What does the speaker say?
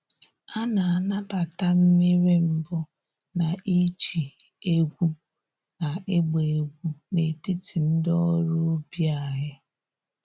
A na-anabata mmiri mbụ na iji egwu na ịgba egwu n’etiti ndị ọrụ ubi anyị.